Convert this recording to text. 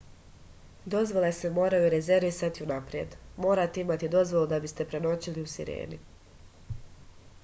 dozvole se moraju rezervisati unapred morate imati dozvolu da biste prenoćili u sireni